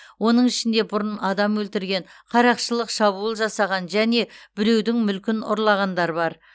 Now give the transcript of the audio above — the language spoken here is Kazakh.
оның ішінде бұрын адам өлтірген қарақшылық шабуыл жасаған және біреудің мүлкін ұрлағандар бар